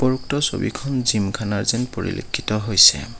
উপৰোক্ত ছবিখন জিমখানা যেন পৰিলেক্ষ্যিত হৈছে।